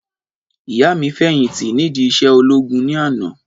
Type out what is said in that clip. Ìyá mi fẹ̀yìntì nídi iṣẹ́ ológun ní àná